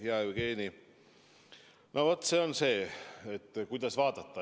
Hea Jevgeni, no küsimus on, kuidas asju vaadata.